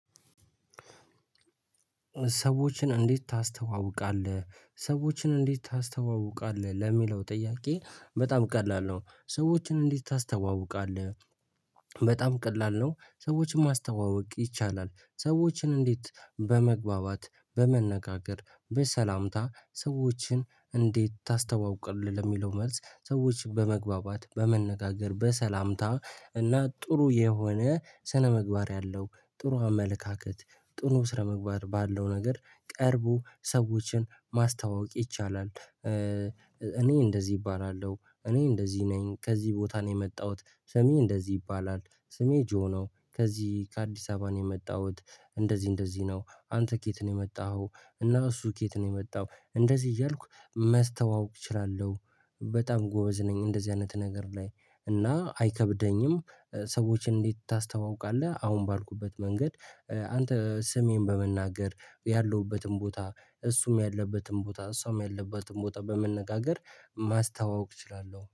ሰዎችን እንዴት ታስተዋውቃለህ? ሰዎችን እንዴት ታስተዋውቃለህ? ለሚለው ጥያቄ በጣም ቀላል ነው። ሰዎችን እንዴት ታስተዋውቃለህ? በጣም ቀላል ነው ሰዎችን ማስተዋወቅ ይቻላል። ሰዎችን እንዴት በመግባባት በመነጋገር በሰላምታ ሰዎችን እንዴት ታስተዋውቃለህ? ለሚለው መልስ ሰዎች በመግባባት በመነጋገር በሰላምታ እና ጥሩ የሆነ ስነምግባር ያለው ጥሩ አመለካከት ጥሩ ስነ ምግባር ባለው ነገር ቀርቦ ሰዎችን ማስተዋወቅ ይቻላል። እኔ እንደዚህ እባላለሁ እኔ እንደዚህ ነኝ ከዚህ ቦታ ነው የመጣሁት። ስሜ እንደዚህ ይባላል። ስሜ ጆ ነው ከዚህ ከአዲስ አበባ ነው የመጣሁት። እንደዚህ እንደዚህ ነው አንተ ከየት ነው የመጣሁት? እና እሱ ከየት ነው የመጣው እንደዚህ እያልኩ ማስተዋወቅ እችላለሁ። በጣም ጎበዝ ነኝ እንደዚህ አይነት ነገር ላይ እና አይከብደኝም። ሰዎችን እንዴት ታስተዋውቃለህ? አሁን ባልኩበት መንገድ አንተ ስሜን በመናገር ያለሁበትን ቦታ እሱም ያለበትን ቦታ እሷም ያለበትን ቦታ በመነጋገር ማስተዋወቅ እችላለሁ